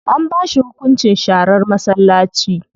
An ba shi hunkunci sharar masallaci.